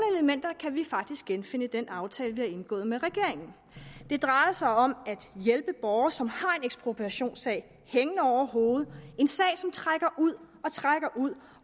elementer kan vi faktisk genfinde i den aftale vi har indgået med regeringen det drejer sig om at hjælpe borgere som har en ekspropriationssag hængende over hovedet en sag som trækker ud og trækker ud